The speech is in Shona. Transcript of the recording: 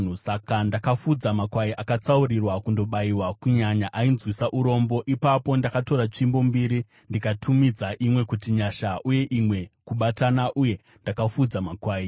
Saka ndakafudza makwai akatsaurirwa kundobayiwa kunyanya ainzwisa urombo. Ipapo ndakatora tsvimbo mbiri ndikatumidza imwe kuti Nyasha uye imwe Kubatana, uye ndakafudza makwai.